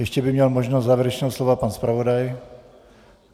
Ještě by měl možnost závěrečného slova pan zpravodaj.